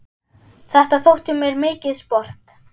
Þetta þótti mér mikið sport.